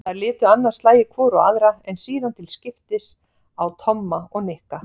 Þær litu annað slagið hvor á aðra en síðan til skiptist á Tomma og Nikka.